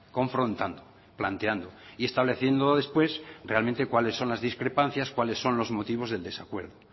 confrontando planteando y estableciendo después realmente cuáles son las discrepancias cuáles son los motivos del desacuerdo